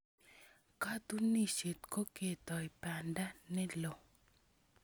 Katunisyet ko ketoi banda ne lo.